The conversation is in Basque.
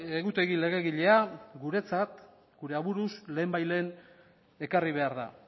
egutegi legegilea guretzat gure aburuz lehen bai lehen ekarri behar da